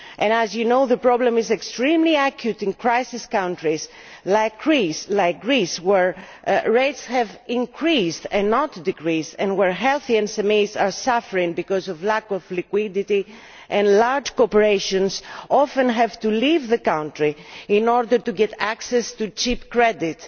As you know, the problem is extremely acute in crisis countries like Greece where rates have increased, not decreased, and where healthy SMEs are suffering because of lack of liquidity and large corporations often have to leave the country in order to get access to cheap credit.